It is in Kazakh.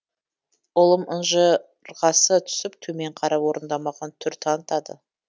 ұлым ынжырғасы түсіп төмен қарап орындамаған түр танытады